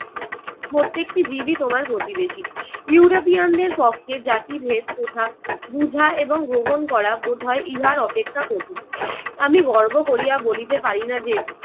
প্রত্যেকটিই জীবই তোমার প্রতিবেশী। ইউরোপিয়ানদের পক্ষে জাতিভেদ প্রথা বুঝা এবং গ্রহণ করা বোধ হয় ইহার অপেক্ষা কঠিন। আমি গর্ব করিয়া বলিতে পারিনা যে